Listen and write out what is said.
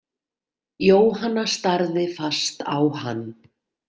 Jóhanna starði fast á hann.